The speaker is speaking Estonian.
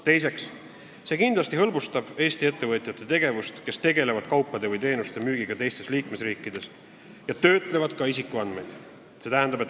Teiseks, see kindlasti hõlbustab Eesti ettevõtjate tegevust, kes tegelevad kaupade või teenuste müügiga teistes liikmesriikides ja töötlevad ka isikuandmeid.